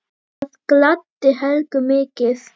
Það gladdi Helgu mikið.